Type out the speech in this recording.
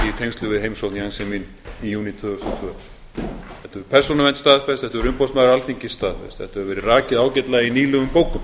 tengslum við heimsókn jiang zemin í júní tvö þúsund og tvö þetta hefur persónuvernd staðfest þetta hefur umboðsmaður alþingis staðfest þetta hefur verið rakið ágætlega í nýlegum bókum